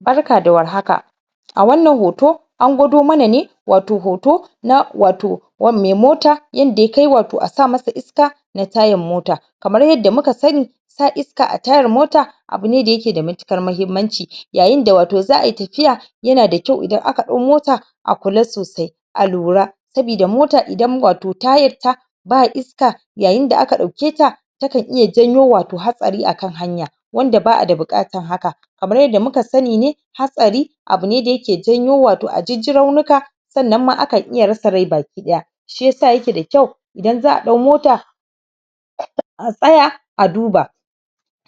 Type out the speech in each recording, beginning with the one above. barka da war haka a wannan hoto an gwado mana ne wato hoto na wato mai moto yanda ya kai wato a sa masa iska na tayar mota kamar yadda muka sani sa iska a tayar mota abune da yake da matuƙar mahimmanci yayinda wato za'ayi tafiya yana da kyau idan aka dau mota a kula sosai a lura sabida mota indan wato tayar ta ba iska yayin da aka dauke ta yakan iya janyo wato hatsari akan hanya wanda ba'a da bukatan haka kamar yadda muka sani ne hatsari abune wanda yake janyo wato ajijjirar maka sannan ma akan iya rasa rai baki daya shiyasa yake da kyau idan za'a dau mota um a tsaya a duba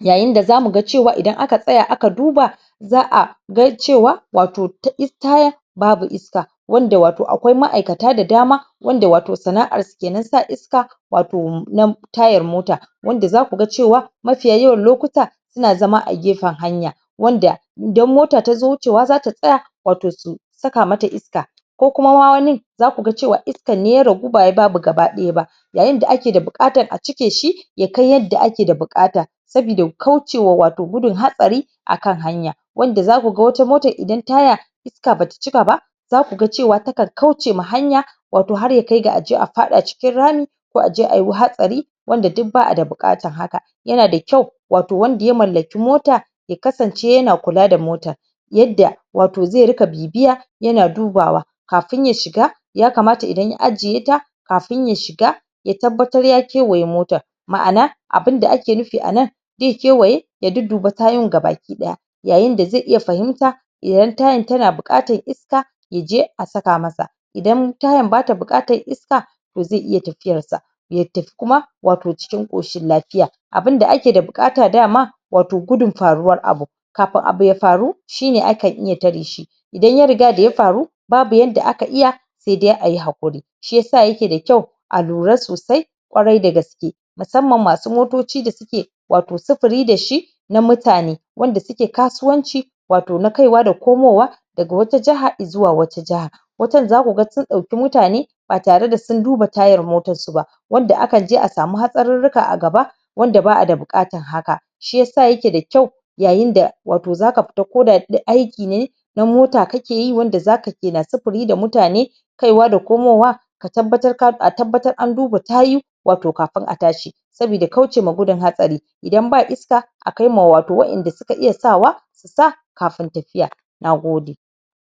yayin da za muga cewa idan aka tsaya aka duba za'a ga cewa wato tayan babu iska wanda wato akwai ma'aikata da dama wanda wato sana'ar su kenan sa iska wato na tayar mota wanda zaku ga cewa mafiya yawan lokuta suan zama a gefen hanya wanda idan mota tazo wucewa zata tsaya wato su saka mata iska ko kum wanin zaku ga cewa iskan ne ya ragu bawai babu gaba daya ba yayin da ake da bukatar a cike shi ya kai yadda ake da bukata sabida ƙaucewa wato gudun hatsari akan hanya wanda zaku ga wata motar idan taya iska bata cika ba zakuga ta kan ƙauce ma hanya wato har ya kai ga aje a faɗa a cikin rami ko aje ayo hatsari wanda duk ba'a da bukatan haka yana da kyau wato wanda ya mallaki mota ya kasance yana kula da motan yadda wato zai ringa bibiya yana dubawa kafun ya shiga yakamata idan ya ajiye ta kafun ya shiga ya tabbatar ya ƙiwaye motan ma'ana abun da ake nufi anan zai kiwaye ya dudduba tayoyin gabaki daya yayin da zai iya fahimta idan tayn tana bukatan iska yaje a saka masa idan tayan bata bukatan iska toh zai iya tafiyar sa ya tafi kuma wato cikin koshin lafiya abun da ake da bukata dama wato gudun faruwar abu kafun abu ya faru shine akan iya tare shi idan ya riga daya faru babu yanda aka iya saidai ayi hakuri shiyasa yake da kyau a lura sosai ƙwarai dagaske musamman masu motoci da suke wato sufuri dashi na mutane wanda suke kasuwanci wato na kai wa da komo wa daga wata jahar zuwa wata jahar wasun ma zaka ga sun dauki mutane ba tare da sun duba tayar motan su ba wanda akan je a samu hatsarruka a gaba wanda ba'a da bukatan haka shiyasa yake da kyau yayin da wato zaka fita ko da aiki ne na motane kakeyi wanda zakana sufuri da mutane kaiwa da komo wa ka tabbatar a tabbatar an duba tayuka wto kafun a tashi sabida kauce ma gudun hatsari idan ba iska a kai ma wato wa'en da suka iya sawa su sa kafun tafiya nagode